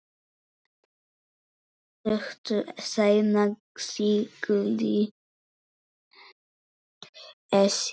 Stuttu seinna sigldi Esjan